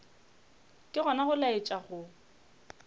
ke gona go laetša go